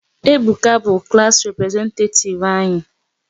Ebuka bụ klass representetativ anyị